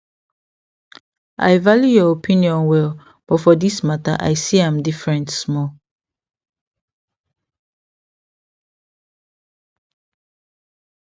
i value your opinion well but for this matter i see am different small